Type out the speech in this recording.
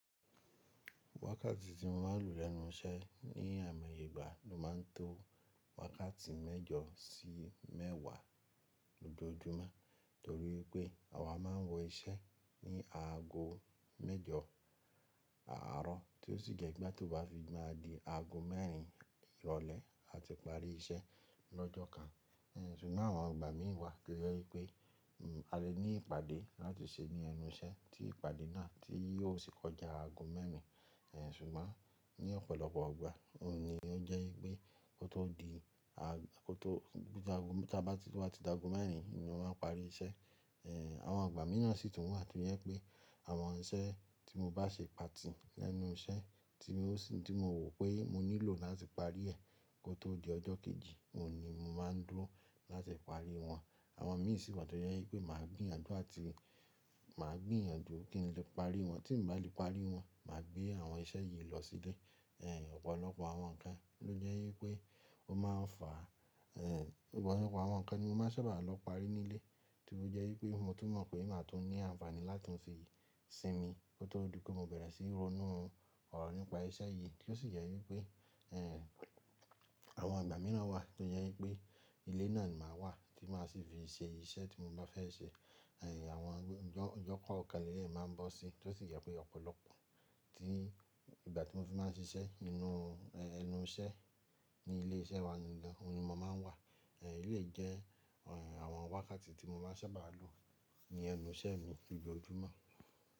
Wákàtí tí mo máa ń lo lenu iṣẹ́ ní àimoye Ìgbà ló máa ń tó wákàtí mẹ́jọ sí mẹ́wàá lójoojúmọ́ torí pé àwa máa ń wọ iṣẹ́ ní aago mẹ́jọ àárọ̀ tí ó sì jẹ́ igba tó bá fi máa di aago mẹ́rin ìrọ̀lẹ́ a ti parí iṣẹ́ lọ́jọ́ kan. N sugbon àwọn ìgbà mìí wà to jẹ́ wípé a lè ní ìpàdé láti ṣe ní ẹnu iṣẹ́ tí ìpàdé náà tí yóò sì kọjá aago mẹ́rin. Ẹ̀ sùgbọ́n ní ọ̀pọ̀lọpọ̀ igbà òun ni ó jẹ́ wípé kó tó di a-- kó tó-- bí a tó, tí o baá ti da aago mẹ́rin ni mo máa ń parí iṣẹ́. Ẹ̀, àwọn ìgbà míràn sì tún wà tí ó jẹ́ wípé àwọn iṣẹ́ tí mo bá ṣe pàtì lẹ́nu iṣẹ́ tí mi o sì, tí mo wò pé mo nílò láti parí ẹ kó tó di ọjọ́ kejì, òun ni mo máa ń dúró láti parí wọn. Àwọn míì sì wa tó jẹ́ wípé màá gbìyànjú àti màá gbìyànjú kí n lè parí wọn tí n bá lè parí wọn, mà gbé àwọn iṣẹ́ yìí lọ sílé. Ẹ̀, ọ̀pọ̀lọpọ̀ àwọn nǹkan ló jẹ́ wípé ó máa ń fà, ẹ, ọ̀pọ̀lọpọ̀ àwọn nǹkan ni mo máa n sábà lọ parí nílé tí ó jẹ́ wípé mo tún mọ̀ pé màá tún ní àǹfààní láti fi sinmi kó tó di pé mo bẹ̀rẹ̀ sí í ronú ọ̀rọ̀ nípa iṣẹ́ yìí tí ó sì jẹ́ wípé, ẹ, àwọn ìgbà míràn wà tí ó jẹ́ wípé ilé náà ni màá wà tí màá sì fi ṣe iṣẹ́ tí mo bá fẹ́ ṣe. Ẹ̀, àwọn ọjọ́ kankan leleyi máa ń bọ́ síi tí ó sì jẹ́ pé ọ̀pọ̀lọpọ̀ tí ìgbà tí mo fi máa ń ṣiṣẹ́ inú, ẹ́nu iṣẹ́ ní ilé iṣẹ́ wa gangan òun ni mo máa ń wà. Ẹ̀, eleyi jẹ́ àwọn wákàtí tí mo bá sábà lò ní ẹnu iṣẹ́ mi lójoojúmọ́.